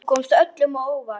Þú komst öllum á óvart.